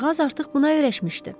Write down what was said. Qızcığaz artıq buna öyrəşmişdi.